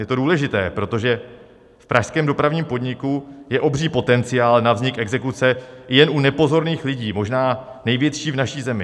Je to důležité, protože v pražském dopravním podniku je obří potenciál na vznik exekuce, jen u nepozorných lidí možná největší v naší zemi.